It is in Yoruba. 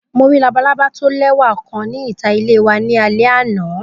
Mo ri labalaba lẹwa kan ni ita ile wa ni alẹ ana.